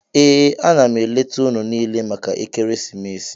Ee, a na m eleta unu niile maka ekeresimesi.